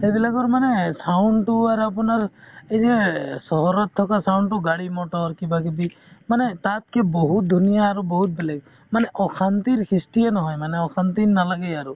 সেইবিলাকৰ মানে sound তো আৰু আপোনাৰ এই যে চহৰত থকা sound তো গাড়ী-মটৰ কিবাকিবি মানে তাতকে বহুত ধুনীয়া আৰু বহুত বেলেগ মানে অশান্তিৰ সৃষ্টিয়ে নহয় মানে অশান্তি নালাগেই আৰু